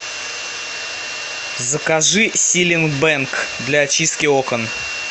закажи силит бэнг для очистки окон